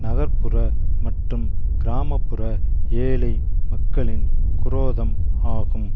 நகர் புற மற்றும் கிராப்புற ஏழை மக்களின் குரோதம் ஆகும்